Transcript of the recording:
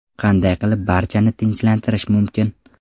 Qanday qilib barchani tinchlantirish mumkin?